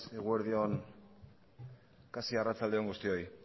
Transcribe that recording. eguerdi on kasi arratsalde on guztioi